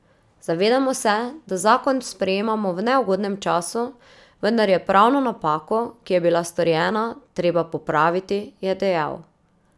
Zavedamo se, da zakon sprejemamo v neugodnem času, vendar je pravno napako, ki je bila storjena, treba popraviti, je dejal.